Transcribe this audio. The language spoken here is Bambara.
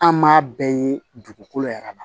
An m'a bɛɛ ye dugukolo yɛrɛ ma